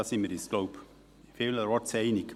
Da sind wir uns wohl vielerorts einig.